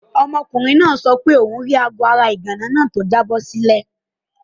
Ọmọkùnrin náà sọ fún mi pé òun rí aago ara ìgànná náà tó jábọ́ sílẹ̀.